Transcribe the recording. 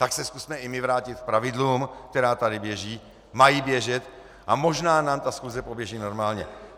Tak se zkusme i my vrátit k pravidlům, která tady běží, mají běžet, a možná nám ta schůze poběží normálně.